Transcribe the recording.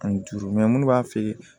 Ani duuru munnu b'a feere